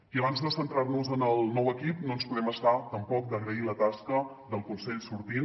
i abans de centrar nos en el nou equip no ens podem estar tampoc d’agrair la tasca del consell sortint